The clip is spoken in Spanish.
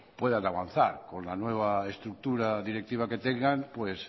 puedan avanzar con la nueva estructura directiva que tengan pues